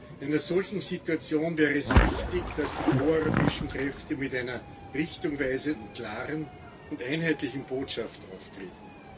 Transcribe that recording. In einer solchen Situation wäre es wichtig, dass die proeuropäischen Kräfte mit einer richtungweisenden klaren und einheitlichen Botschaft auftreten.